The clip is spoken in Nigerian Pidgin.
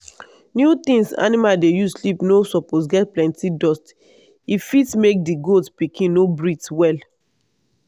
new things animal dey use sleep no suppose get plenty dust if fit make di goat pikin no breathe well.